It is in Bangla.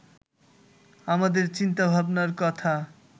আমাদের চিন্তাভাবনার কথা